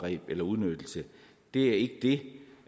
det det